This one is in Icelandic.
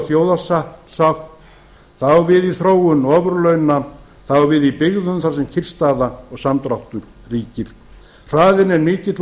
þjóðarsátt það á við um þróun ofurlauna það á við í byggðum þar sem kyrrstaða og samdráttur ríkir hraðinn er mikill og